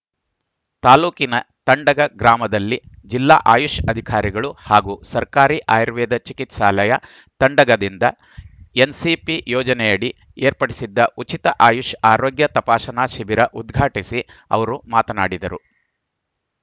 ತಾಲೂಕಿನ ತಂಡಗ ಗ್ರಾಮದಲ್ಲಿ ಜಿಲ್ಲಾ ಆಯುಷ್‌ ಅಧಿಕಾರಿಗಳು ಹಾಗೂ ಸರ್ಕಾರಿ ಆಯುರ್ವೇದ ಚಿಕಿತ್ಸಾಲಯ ತಂಡಗದಿಂದ ಎನ್‌ಸಿಪಿ ಯೋಜನೆಯಡಿ ಏರ್ಪಡಿಸಿದ್ದ ಉಚಿತ ಆಯುಷ್‌ ಆರೋಗ್ಯ ತಪಾಸಣಾ ಶಿಬಿರ ಉದ್ಘಾಟಿಸಿ ಅವರು ಮಾತಮಾಡಿದರು